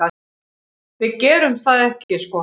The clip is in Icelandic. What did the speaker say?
Við gerum það ekki sko.